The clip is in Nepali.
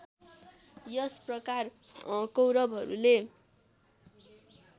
यस प्रकार कौरवहरूले